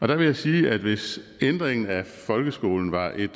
der vil jeg sige at hvis ændringen af folkeskolen var et